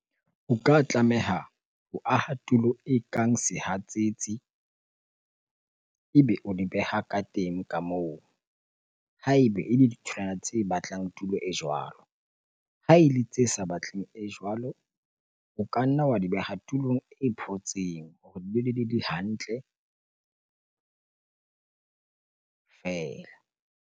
O ka tlameha ho aha tulo ekang sehatsetsi ebe o di beha ka teng ka moo ha ebe ele ditholwana tse batlang tulo e jwalo. Ha ele tse sa batleng e jwalo, o ka nna wa di beha tulong e photseng hore di hantle feela.